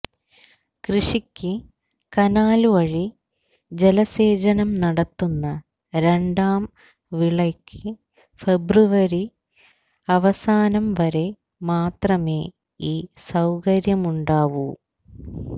കൃഷിക്ക് കനാല്വഴി ജലസേചനം നടത്തുന്ന രണ്ടാം വിളയ്ക്ക് ഫെബ്രുവരി അവസാനംവരെ മാത്രമേ ഈ സൌകര്യമുണ്ടാവൂ